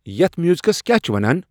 یتھ میوزکس کیا چِھ ونان ؟